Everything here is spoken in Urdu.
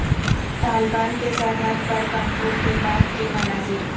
طالبان کے سرحد پر کنٹرول کے بعد کے مناظر